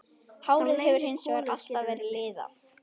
Hárið hefur hins vegar alltaf verið liðað.